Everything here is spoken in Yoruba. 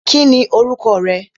Kí ni orúkọ rẹ?